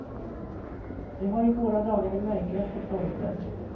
Det har i våra dagar de märkligaste följder.